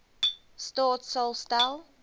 staat sal stel